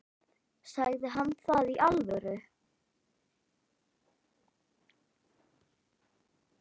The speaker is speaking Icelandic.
Sagði hann það í alvöru?